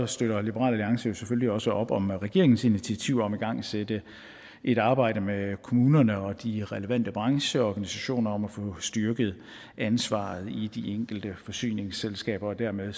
støtter liberal alliance selvfølgelig også op om regeringens initiativer for at igangsætte et arbejde med kommunerne og de relevante brancheorganisationer om at få styrket ansvaret i de enkelte forsyningsselskaber dermed